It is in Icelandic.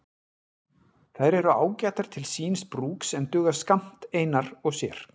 Þær eru ágætar til síns brúks en duga skammt einar og sér.